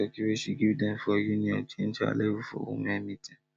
one turkey wey she give dem for union change her level for women meeting